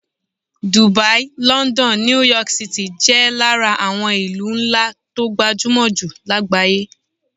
Dubai, london, New York City jẹ́ lára àwọn ìlú ńlá tó gbajúmọ̀ jù lágbàáyé